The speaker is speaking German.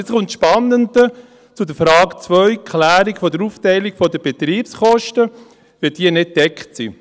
Und nun kommt das Spannende zur Frage 2, Klärung der Aufteilung der Betriebskosten, die nicht gedeckt sind.